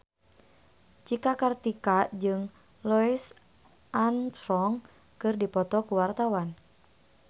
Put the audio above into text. Cika Kartika jeung Louis Armstrong keur dipoto ku wartawan